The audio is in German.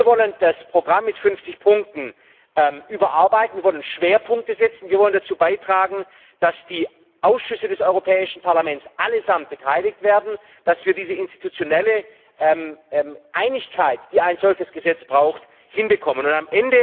Wir wollen das Programm mit 50 Punkten überarbeiten, wir wollen Schwerpunkte setzen, wir wollen dazu beitragen, dass sämtliche Ausschüsse des Europäischen Parlaments beteiligt werden, dass wir diese institutionelle Einigkeit, die ein solches Gesetz braucht, erreichen.